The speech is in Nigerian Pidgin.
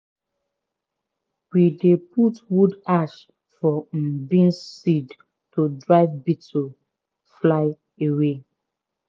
we dey put wood ashes for um beans seed to drive beetle(fly) away.